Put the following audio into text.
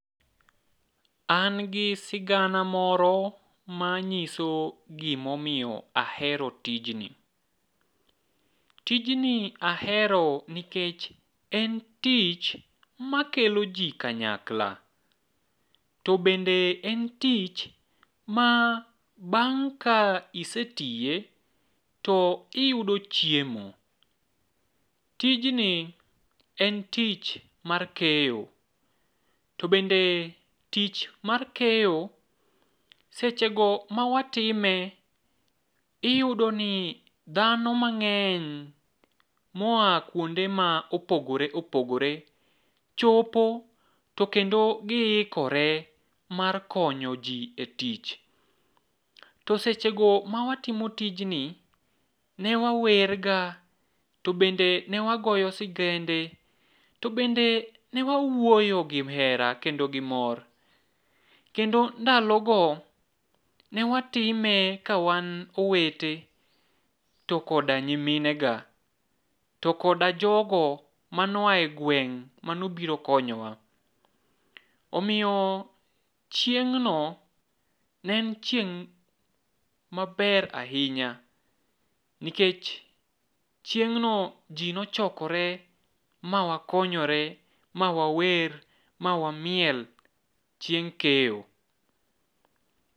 An gi sigana moro manyiso gimomiyo ahero tijni. Tijni ahero nikech en tich makelo ji kanyakla, to bende en tich ma bang' ka isetiye to iyudo chiemo. Tijni en tich mar keyo, to bende tich mar keyo sechego ma watime iyudo ni dhano mang'eny moa kwonde ma opogore opogore chopo to kendo giikore mar konyo ji e tich. To sechego mawatimo tijni, ne wawerga, to bende ne wagoyo sigende, to bende ne wawuoyo gi hera kendo gimor, kendo ndalogo ne watime ka wan owete to koda nyiminega, to koda jogo mane oa e gweng' manobiro konyowa. Omiyo chieng'no ne en chieng' maber ahinya, nikech chieng'no ji nochokore ma wakonyore ma wawer ma wamiel chieng' keyo.